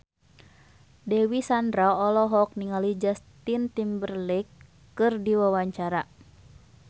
Dewi Sandra olohok ningali Justin Timberlake keur diwawancara